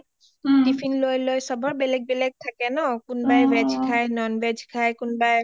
Tiffin লৈ লৈ সবৰ বেলেগ বেলেগ থাকে ন কুনবাই ভেজ খাই কুনবাই non ভেজ খাই কোনোৱাই